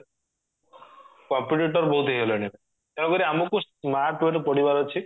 competitor ବହୁତ ହେଇଗଲେଣି ଏବେ ତେଣୁକରି ଆମକୁ smart way ରେ ପଢିବାର ଅଛି